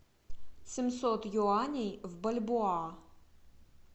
семьсот юаней в бальбоа